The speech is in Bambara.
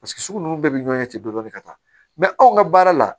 Paseke sugu ninnu bɛɛ bɛ ɲɔgɔn ɲɛ ten dɔni ka taa anw ka baara la